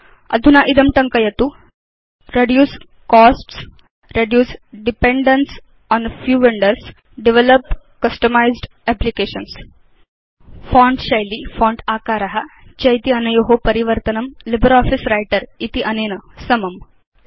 अधुना इदं टङ्कयतु now type the following160 reduce costs reduce dependence on few vendors develop customised applications font शैली font आकार चेत्यनयो परिवर्तनं लिब्रियोफिस व्रिटर इत्यनेन समम्